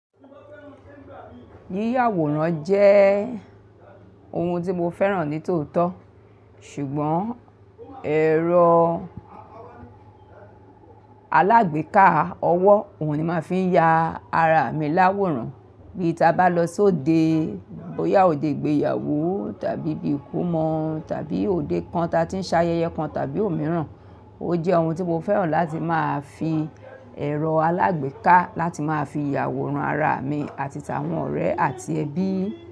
Yíyàwòrán jẹ́ ohun tí mo fẹ́ràn ní tòótọ́, ṣùgbọ́n ẹ̀rọ alágbèéká ọwọ́ òun ni ń màá fi ń ya ara mi láwòrán bí ta bá lọ sóde, bóyá òde ìgbéyàwó tàbí ibí ìkómọ tàbí òde kan ta tí ń ṣayẹyẹ kan tàbí òmíràn. Ó jẹ́ ohun tí mo fẹ́ràn láti máa fi ẹ̀rọ alágbèéká láti máa fi yàwòrán ara mi àti tàwọn ọ̀rẹ́ àti ẹbí.